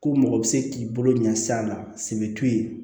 Ko mɔgɔ bɛ se k'i bolo ɲɛs'a la sɛbɛ t'u ye